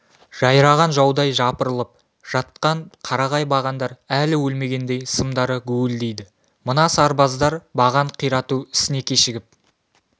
жайраған жаудай жапырылып жатқан қарағай бағандар әлі өлмегендей сымдары гуілдейді мына сарбаздар баған қирату ісіне кешігіп